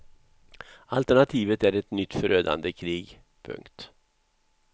Alternativet är ett nytt förödande krig. punkt